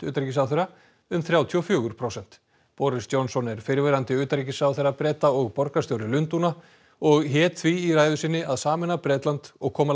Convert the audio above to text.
utanríkisráðherra um þrjátíu og fjögur prósent boris Johnson er fyrrverandi utanríkisráðherra Breta og borgarstjóri Lundúna og hét því í ræðu sinni að sameina Bretland og koma